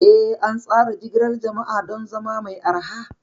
Eh, an tsara jigilar jama'a don zama mai arha.